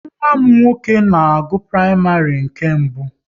Nwa m nwoke na-agụ praịmarị nke mbụ